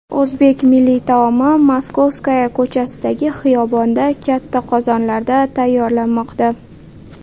O‘zbek milliy taomi Moskovskaya ko‘chasidagi xiyobonda katta qozonlarda tayyorlanmoqda.